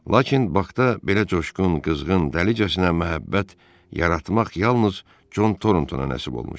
Lakin Bakda belə coşqun, qızğın, dəlicəsinə məhəbbət yaratmaq yalnız Con Thornton nasib olmuşdu.